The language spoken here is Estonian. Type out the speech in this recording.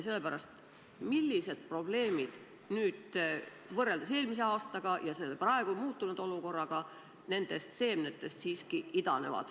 Millised probleemid nüüd võrreldes eelmise aastaga selles praegu muutunud olukorras nendest seemnetest idanevad?